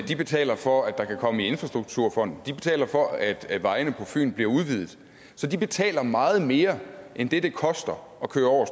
de betaler for at der kan komme midler i infrastrukturfonden de betaler for at at vejene på fyn bliver udvidet så de betaler meget mere end det det koster at køre over